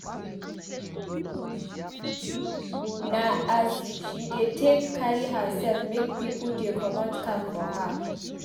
Na as she dey take carry hersef make pipo dey comot cap for her.